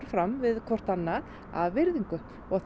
fram við hvotrt annað af virðingu og